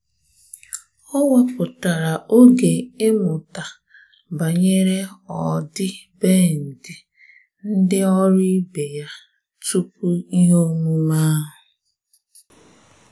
Ọ́ wèpụ̀tárà oge ímụ́ta banyere ọ́dị́bèndị̀ ndị ọ́rụ́ ibe ya tupu ihe omume ahụ́.